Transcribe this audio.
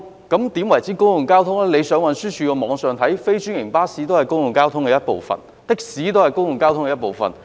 根據運輸署的網頁，非專營巴士都是公共交通的一部分，的士也是公共交通的一部分。